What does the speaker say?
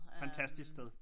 Fantastisk sted